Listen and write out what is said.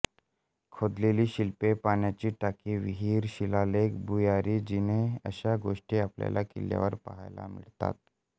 खोदलेली शिल्पे पाण्याची टाकी विहीर शिलालेख भुयारी जिने अशा गोष्टी आपल्याला किल्ल्यावर पहायला मिळतात